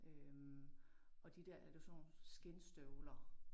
Øh og de der ja det var sådan nogle skindstøvler